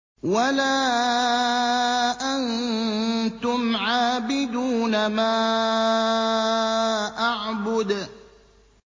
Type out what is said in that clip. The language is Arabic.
وَلَا أَنتُمْ عَابِدُونَ مَا أَعْبُدُ